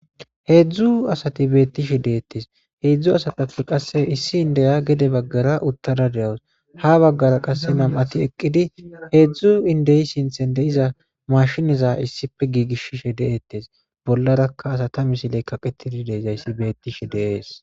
Heedzdzu asati beettishe deettes heedzdzu asatappe qasse issi indeya gede baggara uttada de7os ha baggara qasse nam7ati eqqidi heedzdzu indeyi sinthen de iza mashiniza issife giigishishe deettes bollarakka asatami siley kaqetidi deezayssi beettishe deees